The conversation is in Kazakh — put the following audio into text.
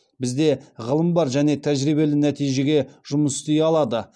бізде ғылым бар және тәжірибелі нәтижеге жұмыс істей алады